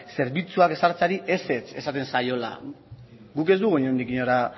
zerbitzuak ezartzeari ezetz esaten zaiola guk ez dugu inondik inora